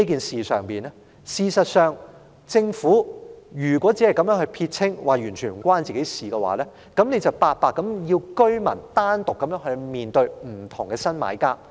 事實上，如果政府要撇清這件事，表示完全與當局無關，那就是要居民獨自面對不同的新買家。